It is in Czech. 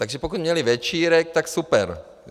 Takže pokud měli večírek, tak super!